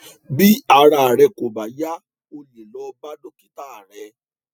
bí ara rẹ kò bá yá o lè lọ bá dókítà rẹ